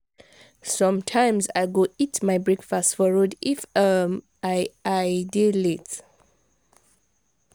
sometimes i go eat my breakfast for road if um i i dey late.